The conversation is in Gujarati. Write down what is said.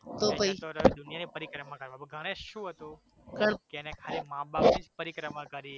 દુનિયાની પરિક્રમા કરવા પણ ગણેશ શું હતુ મા બાપની પરિક્રમા કરીએ